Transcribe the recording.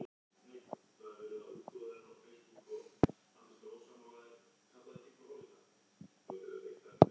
Til að halda andlitinu verða Búlgarar því að ná hagstæðum úrslitum gegn Danmörku í dag.